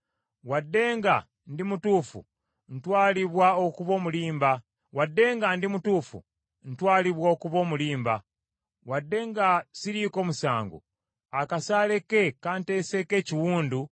Wadde nga ndi mutuufu, ntwalibwa okuba omulimba, wadde nga siriiko musango, akasaale ke kanteseeko ekiwundu ekitawonyezeka.’